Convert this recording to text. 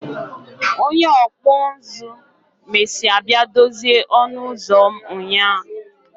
Onye ọkpụ nzụ mesịa bịa dozie ọnụ ụzọ m nyaa